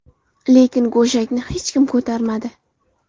Lekin go‘shakni hech kim ko‘tarmadi.